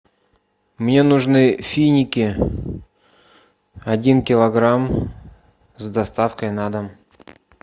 мне нужны финики один килограмм с доставкой на дом